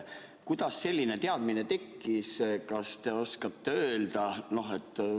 Kuidas selline teadmine tekkis, kas te oskate öelda?